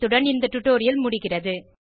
இத்துடன் இந்த டுடோரியல் முடிகிறது